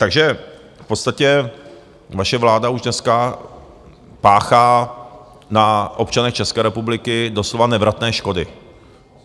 Takže v podstatě vaše vláda už dneska páchá na občanech České republiky doslova nevratné škody.